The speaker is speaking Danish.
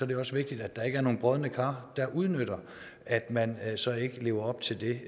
det også vigtigt at der ikke er nogen brodne kar der udnytter at man så ikke lever op til det